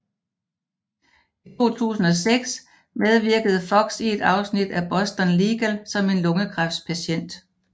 I 2006 medvirkede Fox i et afsnit af Boston Legal som en lungekræftspatient